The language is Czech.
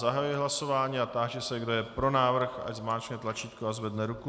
Zahajuji hlasování a táži se, kdo je pro návrh, ať zmáčkne tlačítko a zvedne ruku.